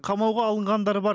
қамауға алынғандар бар